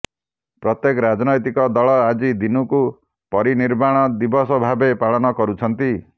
ପ୍ରତ୍ୟେକ ରାଜନୈତିକ ଦଳ ଆଜି ଦିନକୁ ପରିନିର୍ବାଣ ଦିବସ ଭାବେ ପାଳନ କରୁଛନ୍ତି